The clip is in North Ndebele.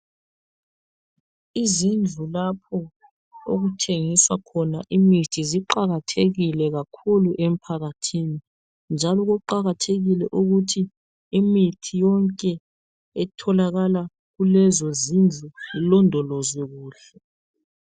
Izindlu lapho okuthengiswa khona imithi ziqakathekile kakhulu emphakathini, njalo kuqakathekile ukuthi imithi yonke etholakala kulezo zindlu ilondolozwe kuhle.